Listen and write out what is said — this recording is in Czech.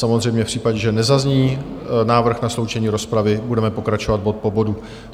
Samozřejmě v případě, že nezazní návrh na sloučení rozpravy, budeme pokračovat bod po bodu.